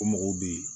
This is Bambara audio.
O mɔgɔw bɛ yen